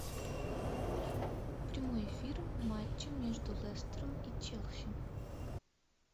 прямой эфир матча между лестером и челси